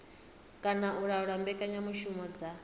kana u laula mbekanyamushumo dza